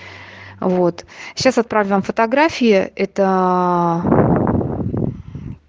вот сейчас отправлю вам фотографии этоо